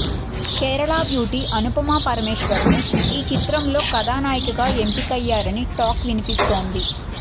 Kerala beauty Anupama Parameswaran ను ఈ చిత్రంలో కథానాయికగా ఎంపికయ్యారని టాక్ వినిపిస్తోంది